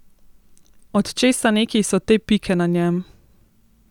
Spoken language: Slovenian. Od česa neki so te pike na njem?